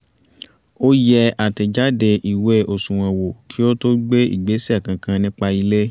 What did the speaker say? ó yẹ àtẹ́jáde ìwé àsùnwọ̀n wò kí ó to gbé ìgbésẹ̀ kankan nípa ilé